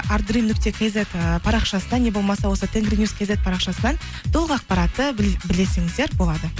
нүкте кизет ііі парақшасынан не болмаса осы тенгринюс кизет парақшасынан толық ақпаратты білсеңіздер болады